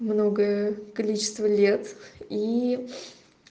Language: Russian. многое количество лет и